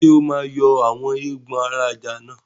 Ṣé o máa yọ àwọn eégbọn ara ajá náà?